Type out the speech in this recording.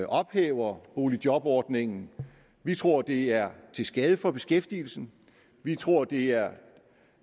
ophæver boligjobordningen vi tror at det er til skade for beskæftigelsen vi tror at det er